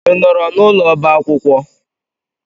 I nọọrọ n'ụlọ ọba akwụkwọ?